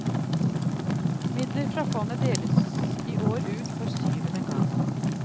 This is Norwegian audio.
Midler fra fondet deles i år ut for syvende gang.